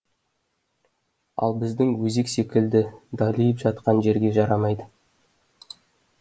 ал біздің өзек секілді далиып жатқан жерге жарамайды